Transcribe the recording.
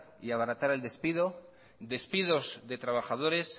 y abaratar el despido despidos de trabajadores